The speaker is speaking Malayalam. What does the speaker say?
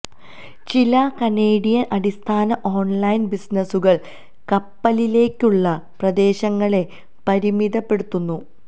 ചില കനേഡിയൻ അടിസ്ഥാന ഓൺലൈൻ ബിസിനസുകൾ കപ്പലിലേക്കുള്ള പ്രദേശങ്ങളെ പരിമിതപ്പെടുത്തുന്നു